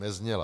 Nezněla.